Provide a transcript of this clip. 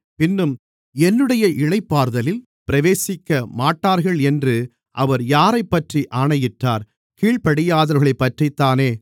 பின்னும் என்னுடைய இளைப்பாறுதலில் பிரவேசிக்கமாட்டார்கள் என்று அவர் யாரைப்பற்றி ஆணையிட்டார் கீழ்ப்படியாதவர்களைப்பற்றித்தானே